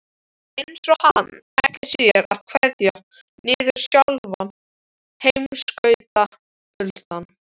Eins og hann ætli sér að kveða niður sjálfan heimskautakuldann.